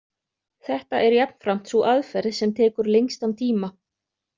Þetta er jafnframt sú aðferð sem tekur lengstan tíma.